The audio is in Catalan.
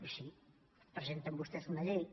i sí presenten vostès una llei